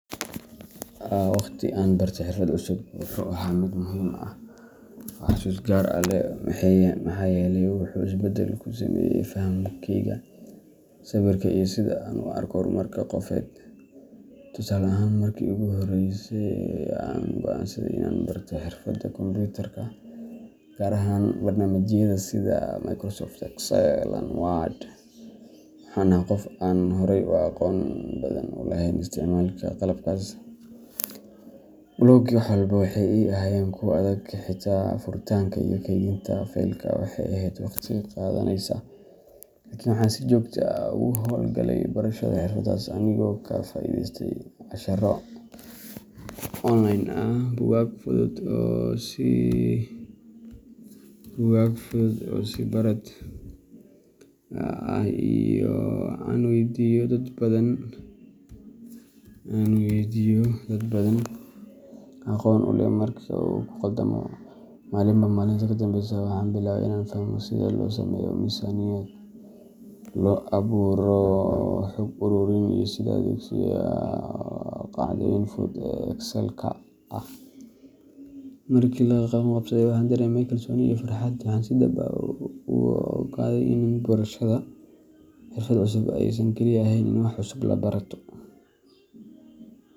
Waqti aan bartay xirfad cusub wuxuu ahaa mid muhiim ah oo xusuus gaar ah leh, maxaa yeelay wuxuu isbeddel ku sameeyey fahamkayga, sabirka iyo sida aan u arko horumarka qofeed. Tusaale ahaan, markii ugu horreysay aan go’aansaday inaan barto xirfadda kombuyuutarka gaar ahaan barnaamijyada sida Microsoft Excel and Word, waxaan ahaa qof aan horay u aqoon badan u lahayn isticmaalka qalabkaas. Bilowgii, wax walba waxay ii ahaayeen kuwo adag xitaa furitaanka iyo kaydinta faylka waxay ahayd waqti qaadanaysa. Laakiin waxaan si joogto ah ugu hawl galay barashada xirfaddaas anigoo ka faa’iideystay casharro online ah, buugaag fudud oo is-barid ah, iyo in aan weydiiyo dad aqoon u leh marka aan ku khaldamo. Maalinba maalinta ka dambeysa waxaan bilaabay inaan fahmo sida loo sameeyo miisaaniyad, loo abuuro xog-ururin, iyo sida loo adeegsado qaacidooyin fudud oo Excelka ah. Markii aan la qabsaday, waxaan dareemay kalsooni iyo farxad, waxaana si dhab ah u ogaaday in barashada xirfad cusub aysan kaliya ahayn in aad wax cusub barato.